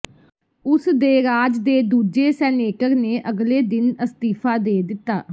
ਉਸ ਦੇ ਰਾਜ ਦੇ ਦੂਜੇ ਸੈਨੇਟਰ ਨੇ ਅਗਲੇ ਦਿਨ ਅਸਤੀਫ਼ਾ ਦੇ ਦਿੱਤਾ